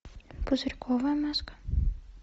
пузырьковая маска